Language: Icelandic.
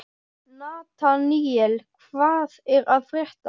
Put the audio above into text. Nataníel, hvað er að frétta?